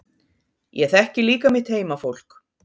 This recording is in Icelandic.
Ég þekki líka mitt heimafólk.